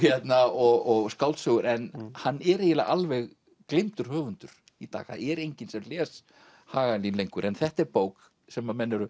og skáldsögur en hann er eiginlega alveg gleymdur höfundur í dag það er enginn sem les Hagalín lengur en þetta er bók sem menn eru